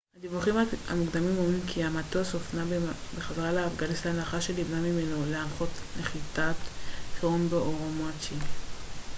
הדיווחים המוקדמים אומרים כי המטוס הופנה בחזרה לאפגניסטן לאחר שנמנע ממנו לנחות נחיתת חירום באורומצ'י